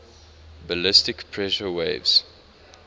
ballistic pressure waves